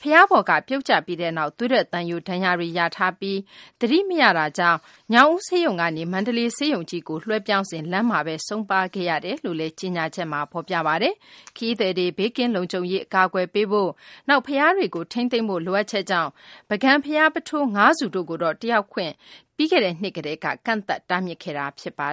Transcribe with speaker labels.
Speaker 1: ဘုရားပေါ်က ပြုတ်ကျပြီးနောက် သွေးထွက်သံယို ဒဏ်ရာတွေ ရပြီး သတိမရတာကြောင့် ညောင်ဦး ဆေးရုံကနေ မန္တလေးဆေးရုံကြီးကို လွှဲပြောင်းစဉ် လမ်းမှာဘဲ ဆုံးပါးခဲ့ရတာလို့လည်း ကြေညာချက်မှာ ဖော်ပြပါတယ်။ ခရီးသည်တွေ ဘေးကင်းလုံခြုံရေး ကာကွယ်ဖို့၊ နောက် ဘုရားတွေကို ထိန်းသိမ်းဖို့ လိုအပ်ချက်ကြောင့် ပုဂံဘုရား ပုထိုး ၅ ဆူတို့မှာ တက်ရောက်ခွင့်ကို ပြီးခဲ့တဲ့နှစ်က ကန့်သတ်တားမြစ်ခဲ့တာပါ